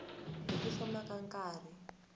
hi ku famba ka nkarhi